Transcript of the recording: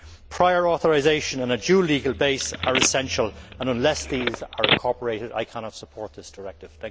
Prior authorisation and a due legal base are essential and, unless these are incorporated, I cannot support this directive.